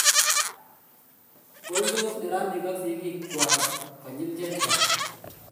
poldos neranik ak sigik kwai konyil chechang